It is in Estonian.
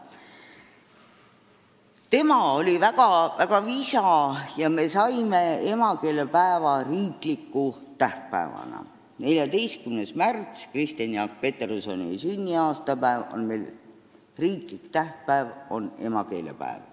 Tema oli väga visa ja me saimegi emakeelepäeva riikliku tähtpäevana – 14. märts, Kristjan Jaak Petersoni sünniaastapäev, on riiklik tähtpäev, on emakeelepäev.